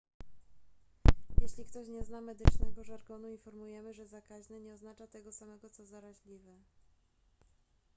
jeśli ktoś nie zna medycznego żargonu informujemy że zakaźny nie oznacza tego samego co zaraźliwy